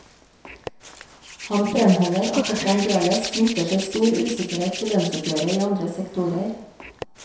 Han fremholder at det fremdeles knytter seg stor usikkerhet til lønnsoppgjøret i andre sektorer.